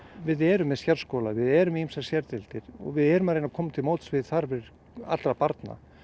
við erum með sérskóla við erum með ýmsar sérdeildir og við erum að reyna að koma til móts við þarfir allra barna